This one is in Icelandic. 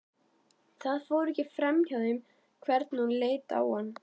Það fór ekki framhjá þeim hvernig hún leit á hann.